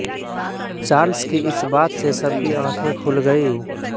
Charles की इस बात से सबकी आंखें खुल गईं